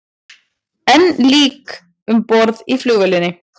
Enn lík um borð í flugvélinni